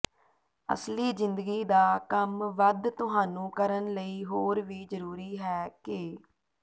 ਅਸਲੀ ਜ਼ਿੰਦਗੀ ਦਾ ਕੰਮ ਵੱਧ ਤੁਹਾਨੂੰ ਕਰਨ ਲਈ ਹੋਰ ਵੀ ਜ਼ਰੂਰੀ ਹੈ ਕਿ